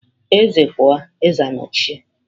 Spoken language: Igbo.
Eze pụọ, eze anochie.